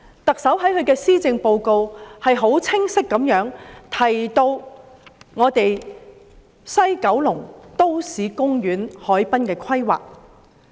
特首在施政報告清晰地提及在西九龍的都市公園和海濱規劃。